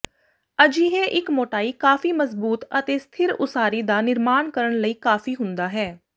ਅਜਿਹੇ ਇੱਕ ਮੋਟਾਈ ਕਾਫ਼ੀ ਮਜ਼ਬੂਤ ਅਤੇ ਸਥਿਰ ਉਸਾਰੀ ਦਾ ਨਿਰਮਾਣ ਕਰਨ ਲਈ ਕਾਫੀ ਹੁੰਦਾ ਹੈ